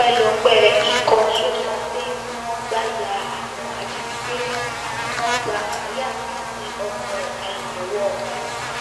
ọpẹ́lọpẹ́ ikọ̀ so-safe tí wọ́n gbà ya àwọn ajínigbé náà ni wọ́n gba maria àti ọmọ rẹ̀ kalẹ̀ lọ́wọ́ wọn